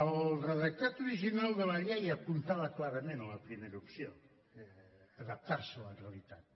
el redactat original de la llei apuntava clarament a la primera opció adaptar se a la realitat